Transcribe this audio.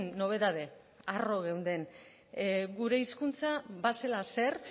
nobedade arro geunden gure hizkuntza bazela zer